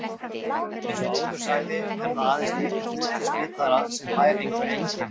Eins og áður sagði er það aðeins lítill hluti smitaðra sem fær einhver einkenni.